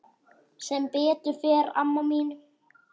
Sem betur fer amma mín.